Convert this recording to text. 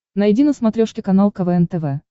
найди на смотрешке канал квн тв